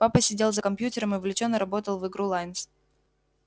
папа сидел за компьютером и увлечённо работал в игру лайнс